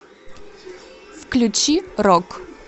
включи рок